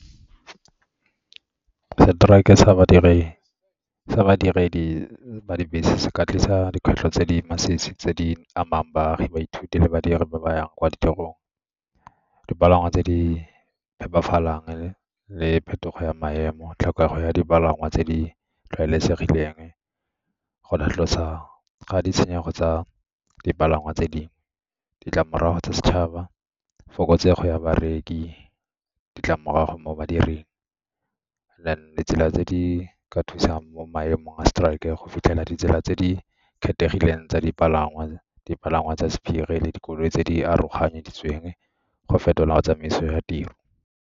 Strike-e sa badiredi ba dibese se ka tlisa dikgwetlho tse di masisi tse di amang baagi baithuti le badiri ba ba yang kwa ditirong, dipalangwa tse di phephafalang le phetogo ya maemo, tlhokego ya dipalangwa tse di tlwaelesegileng, go lapolosa ga ditshenyego tsa dipalangwa tse dingwe. Ditlamorago tsa setšhaba, fokotsego ya bareki, ditlamorago mo badiring, and then ditsela tse di ka thusang mo maemong a strike-e go fitlhela ditsela tse di kgethegileng tsa dipalangwa, dipalangwa tsa sephiri le dikoloi tse di aroganyeditsweng go fetola go tsamaiso ya tiro.